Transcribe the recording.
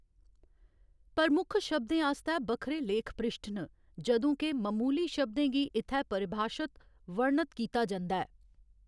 प्रमुख शब्दें आस्तै बक्खरे लेख पृश्ठ न, जदूं के ममूली शब्दें गी इत्थै परिभाशत, वर्णत कीता जंदा ऐ।